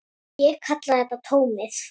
Ég kalla þetta tómið.